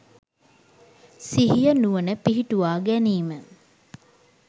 සිහිය නුවණ පිහිටුවා ගැනීම.